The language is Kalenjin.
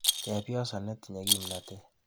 Chepyoso netinye kimnatet.